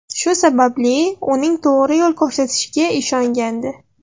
Shu sababli uning to‘g‘ri yo‘l ko‘rsatishiga ishongandi.